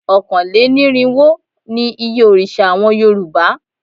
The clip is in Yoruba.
Ọ̀kánlénírinwó ni iye òrìṣà àwọn Yorùbá